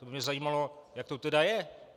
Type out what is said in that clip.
To by mě zajímalo, jak to teda je.